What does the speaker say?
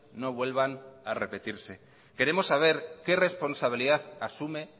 no vuelvan a repetirse queremos saber qué responsabilidad asume